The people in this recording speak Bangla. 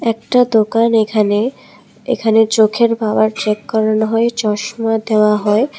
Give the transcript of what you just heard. একটা দোকান এখানে এখানে চোখের পাওয়ার চেক করানো হয় চশমা দেওয়া হয় ।